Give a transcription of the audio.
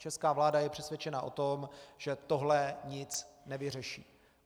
Česká vláda je přesvědčena o tom, že tohle nic nevyřeší.